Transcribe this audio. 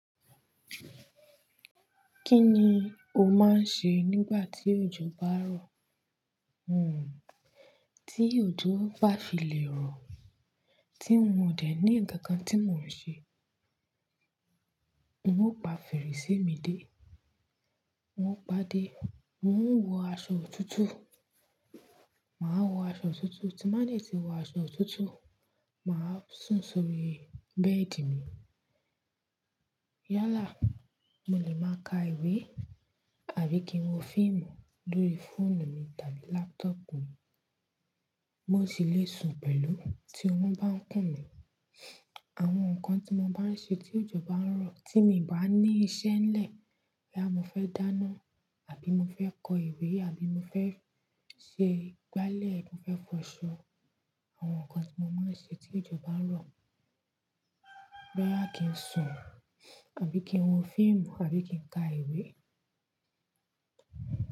Kí ni o máa ń ṣe nígbà tí òjò bá ń rọ̀? Hmmm, tí òjò bá fi lè rọ̀, tí n ò dẹ ní nkankan tí mo n ṣe, n o pa fèrèsé mi dé, n o pàdé, n o wo aṣọ òtútù, màá wo aṣọ òtútù, tí n ba de tí wo aṣọ òtútù, màá sùn sórí bẹ́ẹ̀dì mi. Yálà, mo lè máa ka ìwé àbí kí n wo fíìmù lórí fóònù mi tàbí láptọ̀pù mi. Mo sì le sùn pẹ̀lú tí orún bá ń kùn mí. Àwọn nǹkan tí mo báa ń ṣe tí òjò bá ń rọ̀, tí mi i bá ní iṣẹ́ n lẹ́, boya mo fẹ́ dáná àbí mo fẹ́ kọ ìwé àbí mo fẹ́ se gbálẹ̀, mo fẹ́ fọ aṣọ. Àwọn nǹkan tí mo máa ń ṣe tí òjò bá ń rọ̀. Rárá, kí n sùn àbí kí n wo fíìmù àbí kí n ka ìwé.